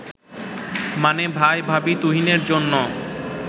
মানে ভাই-ভাবি তুহিনের জন্য